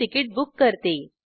मी ticket book करते